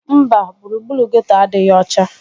Mba, gburugburu geeto adịghị ọcha